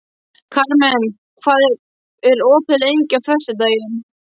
Karmen, hvað er opið lengi á föstudaginn?